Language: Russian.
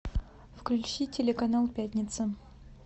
включи телеканал пятница